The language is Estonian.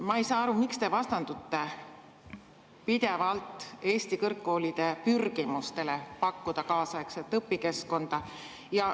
Ma ei saa aru, miks te vastandute pidevalt Eesti kõrgkoolide pürgimustele pakkuda kaasaegset õpikeskkonda.